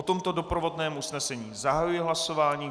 O tomto doprovodném usnesení zahajuji hlasování.